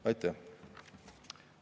Aitäh!